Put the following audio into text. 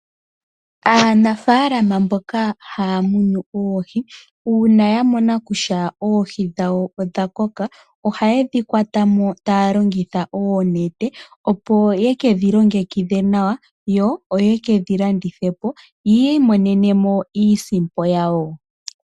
Aanafaalama mboka haya munu oohi, uuna ya mona kutya oohi dhawo odha koka, oha ye dhi kwata mo taya longitha oonete, opo ye ke dhi longekidhe nawa, yo ye ke dhi landithe po, yi imonene mo iisimpo yawo.